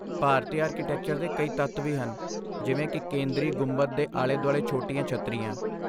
ਭਾਰਤੀ architecture ਦੇ ਕਈ ਤੱਤ ਵੀ ਹਨ, ਜਿਵੇਂ ਕਿ ਕੇਂਦਰੀ ਗੁੰਬਦ ਦੇ ਆਲੇ ਦੁਆਲੇ ਛੋਟੀਆਂ ਛੱਤਰੀਆਂ।